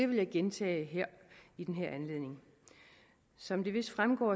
vil jeg gentage i den her anledning som det vist fremgår